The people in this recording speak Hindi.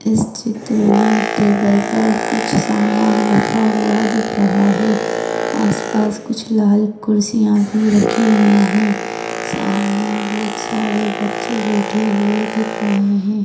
इस चित्र मे टेबल पर कुछ समान रखा हुआ दिख रहा है आसपास कुछ लाल कुर्सिया भी रखी हुई है सामने बहुतसारे बच्चे बैठे हुए दिख रहे है।